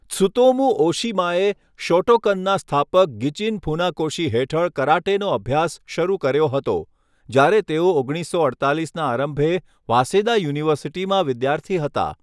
Tsutomu ઓશિમાએ શોટોકનના સ્થાપક ગિચિન ફુનાકોશી હેઠળ કરાટેનો અભ્યાસ શરૂ કર્યો હતો, જ્યારે તેઓ ઓગણીસસો અડતાલીસના આરંભે વાસેદા યુનિવર્સિટીમાં વિદ્યાર્થી હતા.